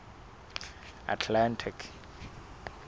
atlantic